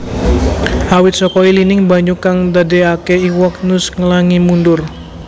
Awit saka ilining banyu kang ndadékaké iwak nus nglangi mundur